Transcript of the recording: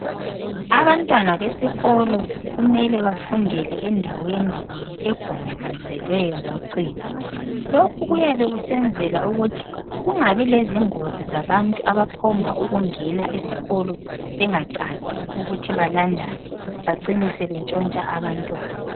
Abantwana besikolo kumele bafundele endaweni egonjolozelweyo ngocingo. Lokhu kuyabe kusenzela ukuthi kungabi lezingozi zabantu abaphomba ukungena esikolo bengacaci ukuthi balandani becine sebetshontsha abantwana.